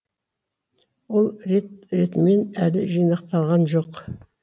ол рет ретімен әлі жинақталған жоқ